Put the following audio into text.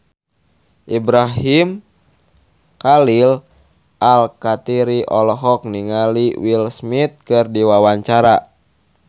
Ibrahim Khalil Alkatiri olohok ningali Will Smith keur diwawancara